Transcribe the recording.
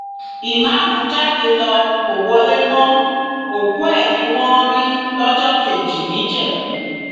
ìmáàmù jáde ló kó wọlé mọ òkú ẹ ni wọn rí lọjọ kejì níjẹbù